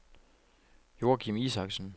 Joachim Isaksen